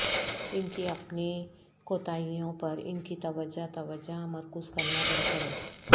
ان کی اپنی کوتاہیوں پر ان کی توجہ توجہ مرکوز کرنا بند کرو